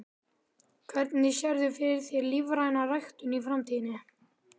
Hvernig sérðu fyrir þér lífræna ræktun í framtíðinni?